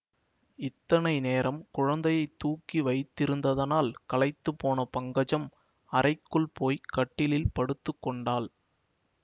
இத்தனை நேரம் குழந்தையைத் தூக்கி வைத்திருந்ததனால் களைத்துப்போன பங்கஜம் அறைக்குள் போய் கட்டிலில் படுத்து கொண்டாள்